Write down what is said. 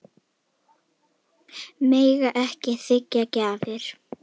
Mega ekki þiggja gjafir